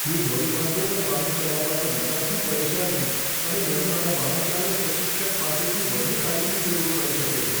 હું ધોરીમાર્ગો પર વાહન ચલાવવાના વિચારથી પરેશાન છું અને મને મારા વાહનચાલક પ્રશિક્ષક પાસેથી વધુ તાલીમની જરૂર પડી શકે છે.